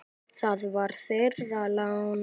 Það var þeirra lán.